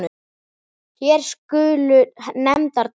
Hér skulu nefndar tvær.